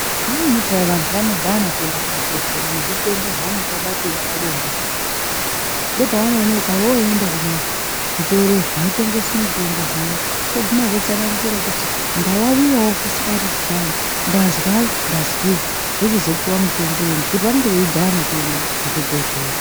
Vamweni peya vantu vanodhana kuenda kuzvibhedhleya nezvitenda zvavanenge vabatira pabonde zviya. Ndopavan oonekwa voende kumazvitoro zvinotengese mitombo zviya voguma votsanangura kuti ndavavivavo kusika rudzi kwangu. Ndazwa ndazwei vochizopuva mutombo ngekuti vanenge veidhana kuende kuzvibhedhlera.